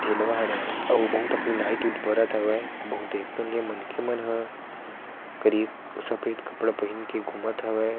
ठीलवाड़ हे अउ बहुत अखिल लाइट -वाइट बरत हवे बहुत देखते ही मनखे मन ह करीब सफेद कपड़ा पहीन के घुमत हवे --